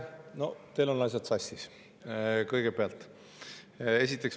No teil on asjad sassis, kõigepealt.